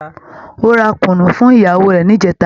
Ó ra Kunu fún ìyàwó rẹ̀ ní ìjẹta